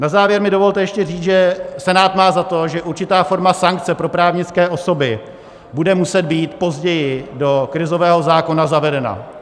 Na závěr mi dovolte ještě říct, že Senát má za to, že určitá forma sankce pro právnické osoby bude muset být později do krizového zákona zavedena.